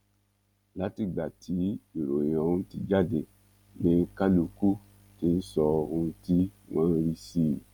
látìgbà tí ìròyìn ọhún ti jáde ni kálukú ti ń sọ ohun tí wọn rí sí i